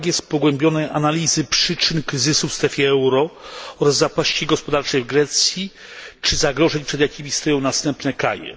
Brak jest pogłębionych analiz przyczyn kryzysu w strefie euro oraz zapaści gospodarczej w Grecji, czy zagrożeń, przed jakimi stoją następne kraje.